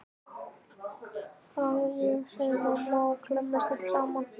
Það er ég, segir mamma og klemmist öll saman.